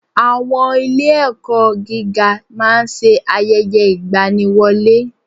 Àwọn ilé ẹ̀kọ́ gíga máa ń ṣe ayẹyẹ ìgbaniwọlé.